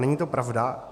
Není to pravda.